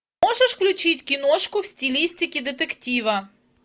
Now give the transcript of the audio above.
можешь включить киношку в стилистике детектива